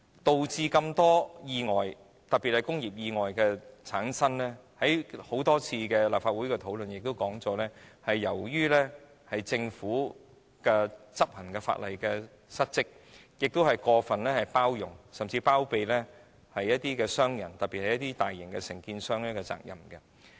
多宗意外發生，正如大家在多次立法會的討論中已說明，是由於政府執行法例失職及過分包容甚或包庇商人，特別是大型承建商。